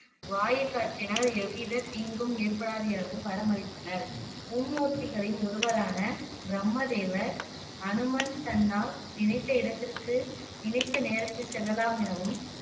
வாயுக்காற்றினால் எவ்வித தீங்கும் ஏற்படாது எனவும் வரமளித்தனர் மும்மூர்த்திகளில் ஒருவரான பிரம்மதேவர் அனுமன் தன்னால் நினைத்த இடத்திற்கு நினைத்த நேரத்தில் செல்லலாம் எனவும்